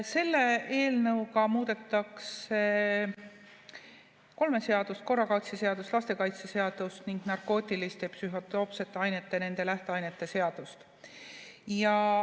Selle eelnõuga muudetakse kolme seadust: korrakaitseseadust, lastekaitseseadust ning narkootiliste ja psühhotroopsete ainete ning nende lähteainete seadust.